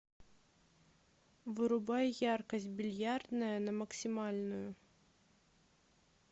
вырубай яркость бильярдная на максимальную